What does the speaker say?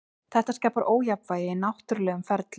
Þetta skapar ójafnvægi í náttúrulegum ferlum.